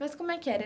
Mas como é que era?